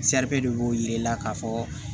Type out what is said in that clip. de b'o yira i la k'a fɔ